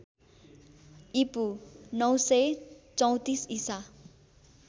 ईपू ९३४ ईसा